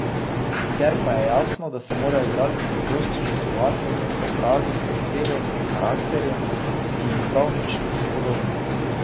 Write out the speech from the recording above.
Sicer pa je jasno, da se morajo igralci pogosto žrtvovati in se preobraziti v osebe in karakterje, ki jim prav nič niso podobni.